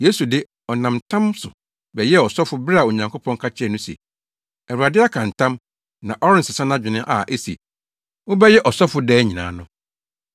Yesu de, ɔnam ntam so bɛyɛɛ ɔsɔfo bere a Onyankopɔn ka kyerɛɛ no se, “Awurade aka ntam; na ɔrensesa nʼadwene a ese, ‘Wobɛyɛ ɔsɔfo daa nyinaa no.’ ”